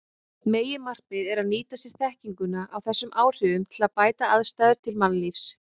Meginmarkmiðið er að nýta sér þekkinguna á þessum áhrifum til að bæta aðstæður til mannlífs.